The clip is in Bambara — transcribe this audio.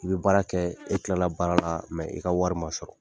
I bɛ baara kɛ e tilala baara la i ka wari ma sɔrɔ